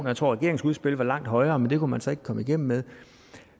jeg tror regeringsudspillet var langt højere men det kunne man så ikke komme igennem med